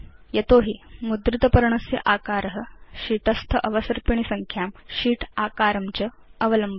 यतो हि मुद्रित पर्णस्य आकार शीत् स्थ अवसर्पिणी संख्यां शीत् आकारं च अवलम्बते